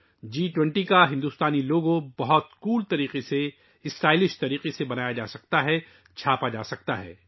جی 20 کے بھارتی لوگو بہت خوبصورت انداز میں، بہت اسٹائلش انداز میں، کپڑوں پر پرنٹ کیا جا سکتا ہے